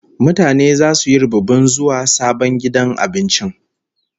Mutane zasu yi rubibin zuwa sabon gidan abincin.